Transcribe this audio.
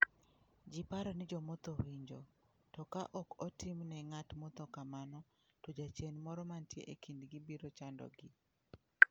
Ji paro ni jo motho winjo, to ka ok otim ne ng'at motho kamano, to jachien moro mantie e kindgi biro chandogi.